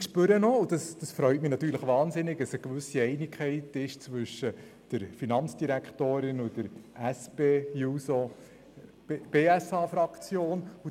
Ich spüre auch – und das freut mich natürlich ausserordentlich –, dass eine gewisse Einigkeit zwischen der Finanzdirektorin und der SP-JUSOPSA-Fraktion besteht.